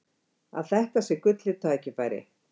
Að þetta sé gullið tækifæri.